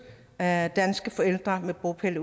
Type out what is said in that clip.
af danske forældre med bopæl